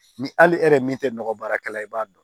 Ni hali e yɛrɛ min tɛ nɔgɔ baarakɛla i b'a dɔn